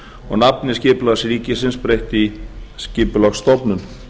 og nafni skipulags ríkisins breytt í skipulagsstofnun